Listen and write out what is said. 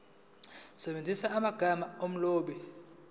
usebenzise amagama omlobi